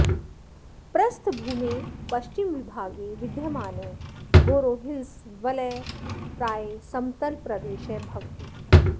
प्रस्थभूमेः पश्चिमविभागे विद्यमानः गारोहिल्स वलयः प्रायः समतलप्रदेशः भवति